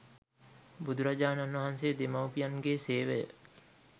බුදුරජාණන් වහන්සේ දෙමාපියන්ගේසේවය